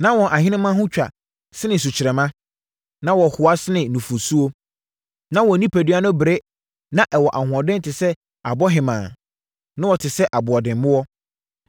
Na wɔn ahenemma ho twa sene sukyerɛmma, na wɔhoa sene nufosuo, na wɔn onipadua no bere na ɛwɔ ahoɔden te sɛ abohemaa, na wɔte sɛ aboɔdemmoɔ.